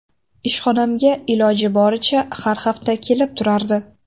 Ishxonamga iloji boricha har hafta kelib turardi.